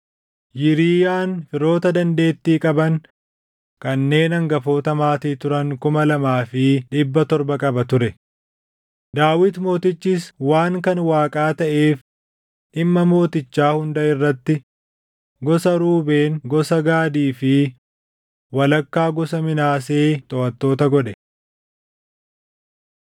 Yiriiyaan firoota dandeettii qaban kanneen hangafoota maatii turan kuma lamaa fi dhibba torba qaba ture; Daawit mootichis waan kan Waaqaa taʼeef dhimma mootichaa hunda irratti gosa Ruubeen gosa Gaadii fi walakkaa gosa Minaasee toʼattoota godhe.